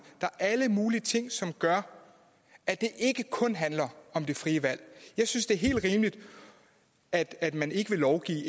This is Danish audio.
der er alle mulige ting som gør at det ikke kun handler om det frie valg jeg synes det er helt rimeligt at at man ikke vil lovgive